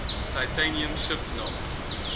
titanium shift knob